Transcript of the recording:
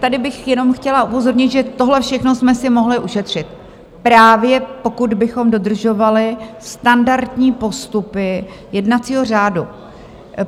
Tady bych jenom chtěla upozornit, že tohle všechno jsme si mohli ušetřit, právě pokud bychom dodržovali standardní postupy jednacího řádu.